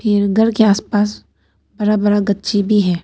के आस पास बड़ा बड़ा गच्ची भी है।